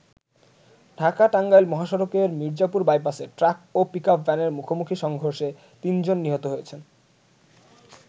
ঢাকা-টাঙ্গাইল মহাসড়কের মির্জাপুর বাইপাসে ট্রাক ও পিকআপ ভ্যানের মুখোমুখি সংর্ঘষে ৩ জন নিহত হয়েছেন।